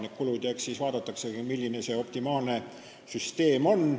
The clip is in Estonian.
Eks siis vaadatakse, milline see optimaalne süsteem on.